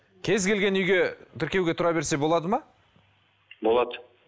кез келген үйге тіркеуге тұра берсе болады ма болады